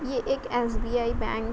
ये एक SBI bank --